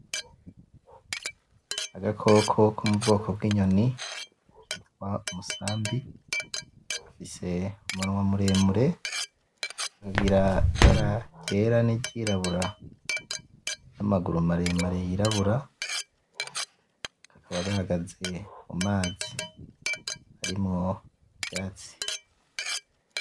Agakoko ko mubwoko bw'inyoni, kitwa umusambi gafise umunwa muremure, kakagira ibara ryera, niryirabura, namaguru maremare yirabura, kakaba gahagaze mu mazi, ari mu vyatsi.